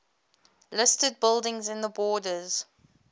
listed buildings in the borders